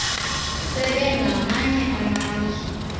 sebe ngamanye amazwi